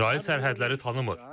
İsrail sərhədləri tanımır.